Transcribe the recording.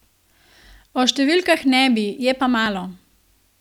O številkah ne bi, je pa malo.